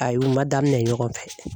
Ayi u ma daminɛ ɲɔgɔn fɛ.